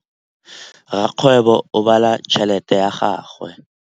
Rakgwêbô o bala tšheletê ya gagwe.